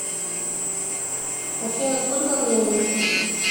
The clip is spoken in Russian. афина сколько времени